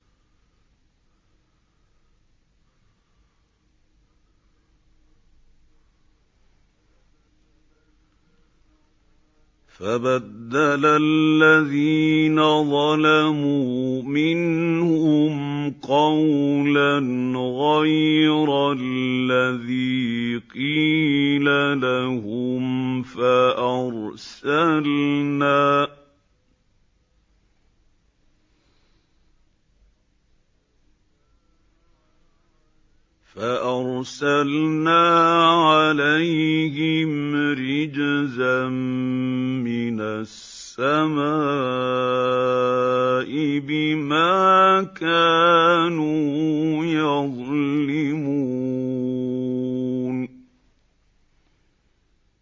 فَبَدَّلَ الَّذِينَ ظَلَمُوا مِنْهُمْ قَوْلًا غَيْرَ الَّذِي قِيلَ لَهُمْ فَأَرْسَلْنَا عَلَيْهِمْ رِجْزًا مِّنَ السَّمَاءِ بِمَا كَانُوا يَظْلِمُونَ